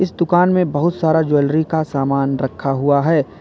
दुकान में बहुत सारा ज्वेलरी का सामान रखा हुआ है।